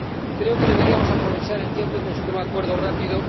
Creo que deberíamos aprovechar el tiempo y conseguir un acuerdo rápido.